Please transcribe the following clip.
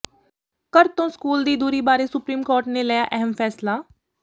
ਘਰ ਤੋਂ ਸਕੂਲ ਦੀ ਦੂਰੀ ਬਾਰੇ ਸੁਪਰੀਮ ਕੋਰਟ ਨੇ ਲਿਆ ਅਹਿਮ ਫ਼ੈਸਲਾ